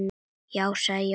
Já, sagði Jóhann.